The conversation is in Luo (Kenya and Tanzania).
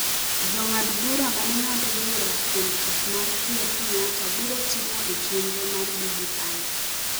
Jong'ad bura ne ng’ado bura kuom tich ma Ker Kenyatta biro timo e chenro mar BBI.